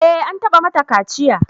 Eh, an taɓa mata kaciya